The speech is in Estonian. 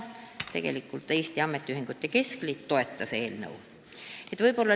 Eesti Ametiühingute Keskliit toetas eelnõu.